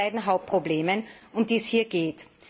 Nun zu den beiden Hauptproblemen, um die es hier geht.